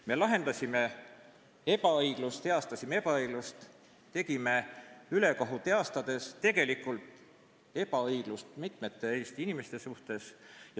Me heastasime ebaõiglust ning tekitasime ülekohut, heastades tegelikult ebaõiglust mitmete Eesti inimeste suhtes.